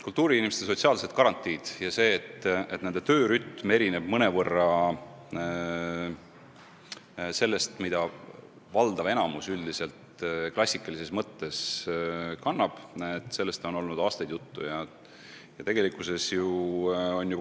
Kultuuriinimeste sotsiaalsetest garantiidest ja sellest, et nende töörütm erineb mõnevõrra valdava enamiku klassikalisest töörütmist, on juttu olnud aastaid.